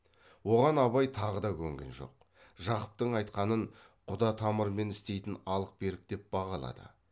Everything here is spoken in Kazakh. оған абай тағы да көнген жоқ жақыптың айтқанын құда тамырмен істейтін алық берік деп бағалады